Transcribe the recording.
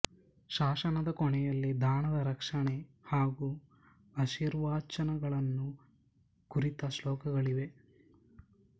ಶಾಸನದ ಕೊನೆಯಲ್ಲಿ ದಾನದ ರಕ್ಷಣೆ ಹಾಗೂ ಆಶೀರ್ವಚನಗಳನ್ನು ಕುರಿತ ಶ್ಲೋಕಗಳಿವೆ